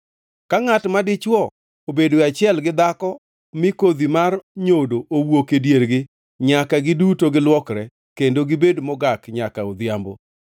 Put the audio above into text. Ka ngʼat ma dichwo obedoe achiel gi dhako mi kodhi mar nyodo owuok e diergi, nyaka giduto giluokre, kendo ginibed mogak nyaka odhiambo.